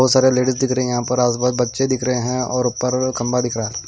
बहुत सारे लेडीज दिख रहे हैं यहां पर आज बाज बच्चे दिख रहे हैं और ऊपर खंबा दिख रहा है।